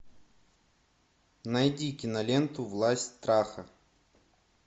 найди киноленту власть страха